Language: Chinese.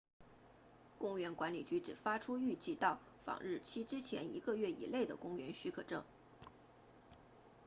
公园管理局只发出预计到访日期之前一个月以内的公园许可证